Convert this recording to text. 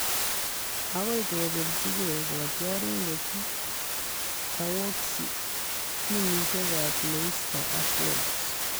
Agoi kobeljigei kotiorindet Tarkowski timisiekab Leicester ak Wolves